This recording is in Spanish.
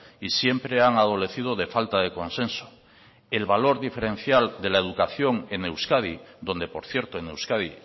y siempre han adolecido de falta de consenso el valor diferencial de la educación en euskadi donde por cierto en euskadi